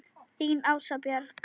Þín Ása Björg.